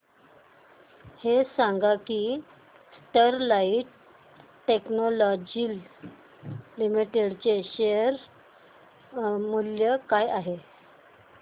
हे सांगा की स्टरलाइट टेक्नोलॉजीज लिमिटेड चे शेअर मूल्य काय आहे